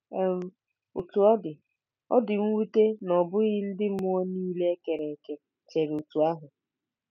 um Otú ọ dị, ọ dị mwute na ọ bụghị ndị mmụọ nile e kere eke chere otú ahụ.